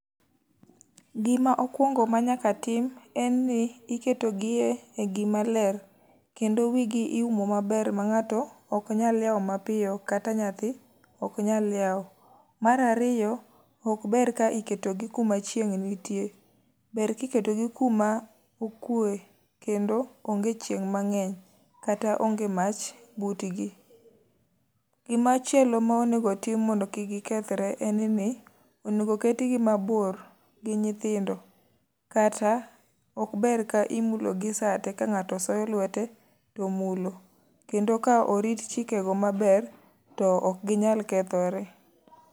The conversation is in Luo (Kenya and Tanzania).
Gima okwongo ma nyaka tim en ni, iketogie e gima ler, kendo wi gi iumo maber ma ngáto ok nyal lieo mapiyo, kata nyathi ok nyal lieo. Mar ariyo, ok ber ka iketo gi kuma chieng' nitie, ber ka iketo gi kuma okwe kendo onge chieng' mangény, kata onge mach butgi. Gimachielo ma onego tim mondo kik gikethre en ni, onego ket gi mabor gi nyithindo, kata ok ber ka imulo gi sa te, ka ngáto soyo lwete to mulo. Kendo ka orit chike go maber to ok ginyal kethore.